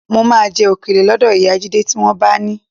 Mo máa jẹ òkèlè lọ́dọ̀ ìyá Jídé tí wọ́n bá ni